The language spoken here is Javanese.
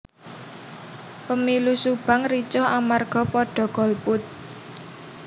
Pemilu Subang ricuh amarga podo golput